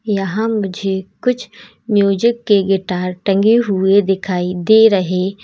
यहां मुझे कुछ म्यूजिक के गिटार टंगे हुए दिखाई दे रहे--